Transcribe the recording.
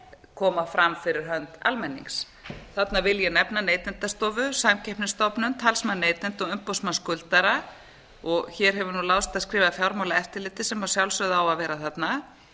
koma fram fyrir hönd almennings þarna vil ég nefna neytendastofu samkeppnisstofnun talsmann neytenda og umboðsmann skuldara og hér hefur láðst að skrifa fjármálaeftirlitið sem að sjálfsögðu á að vera þarna